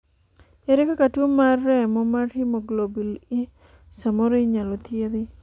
ere kaka tuo mar remo mar haemoglobin E samoro inyalo thiedhi?